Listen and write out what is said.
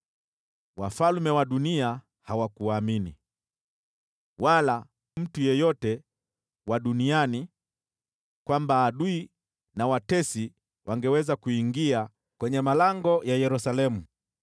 Wafalme wa dunia hawakuamini, wala mtu yeyote wa duniani, kwamba adui na watesi wangeweza kuingia kwenye malango ya Yerusalemu.